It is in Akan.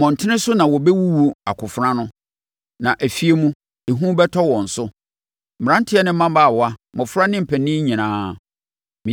Mmɔntene so no wɔbɛwuwu akofena ano, na afie mu, ehu bɛtɔ wɔn so. Mmeranteɛ ne mmabaawa mmɔfra ne mpanin nyinaa.